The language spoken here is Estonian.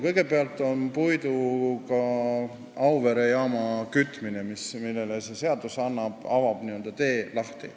Kõigepealt on puiduga Auvere jaama kütmine, millele see seadus avab tee.